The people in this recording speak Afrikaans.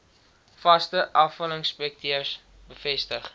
vaste afvalinspekteurs bevestig